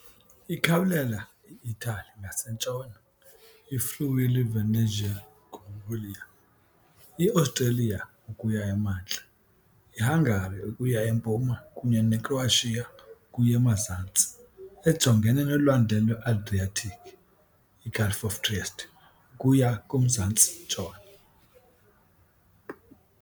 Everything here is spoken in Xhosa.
Ikhawulela i-Itali ngasentshona, i-Friuli-Venezia Giulia, i-Australia ukuya emantla, iHungary ukuya empuma kunye neCroatia ukuya emazantsi, ejongene noLwandle lwe-Adriatic, iGulf of Trieste, ukuya kumzantsi-ntshona.